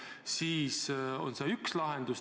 See on üks lahendus.